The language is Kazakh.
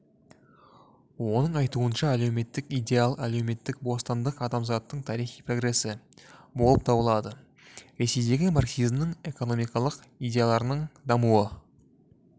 оның айтуынша әлеуметтік идеал әлеуметтік бостандық адамзаттың тарихи прогресі болып табылады ресейдегі марксизмнің экономикалық идеяларының дамуы